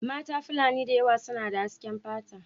Mata fulani da yawa suna da hasken fata.